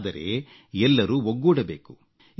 ಆದರೆ ಎಲ್ಲರೂ ಒಗ್ಗೂಡಬೇಕು